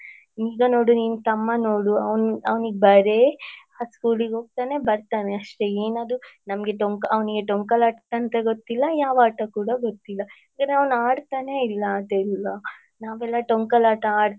ಈಗ ನೋಡು ನಿನ್ ತಮ್ಮನ್ ನೋಡು ಅವ್ನ್ ಅವ್ನಿಗೆ ಬರೆ schoolಳಿಗೆ ಹೋಗ್ತಾನೆ ಬರ್ತಾನೆ ಅಷ್ಟೆ ಏನದು ನಮ್ಗೆ ಡೋಂಕ ಅವ್ನಿಗೆ ಡೊಂಕಲಾಟ ಅಂತ ಗೊತ್ತಿಲ್ಲ ಯಾವ ಆಟ ಕೂಡ ಗೊತ್ತಿಲ್ಲ ಯಾಕಂದ್ರೆ ಅವನ್ ಆಡ್ತಾನೇ ಇಲ್ಲ ಅದೆಲ್ಲ ನಾವೆಲ್ಲ ಡೊಂಕಲಾಟ,